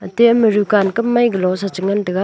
atey ama rukan kamai galo sa che ngan tega.